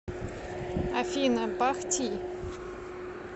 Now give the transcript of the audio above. афина бах ти